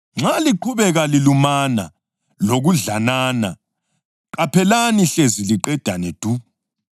Nxa liqhubeka lilumana lokudlanana, qaphelani hlezi liqedane du.